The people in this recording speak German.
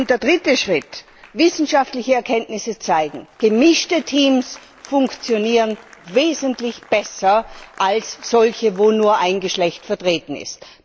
Der dritte Schritt Wissenschaftliche Erkenntnisse zeigen, gemischte Teams funktionieren wesentlich besser als solche, in denen nur ein Geschlecht vertreten ist.